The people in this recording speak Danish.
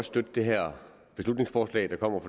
støtte det her beslutningsforslag der kommer